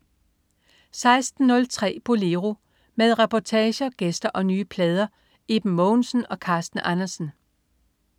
16.03 Bolero. Med reportager, gæster og nye plader. Iben Mogensen og Carsten Andersen